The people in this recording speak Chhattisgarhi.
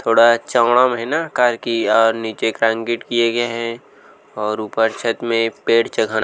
थोड़ा चोड्डम है न कार की और निचे क्रांकीट किये गए है और ऊपर छत में एक पेड़ च खड़ा--